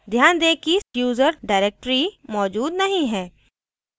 ध्यान दें कि /user directory मौजूद नहीं है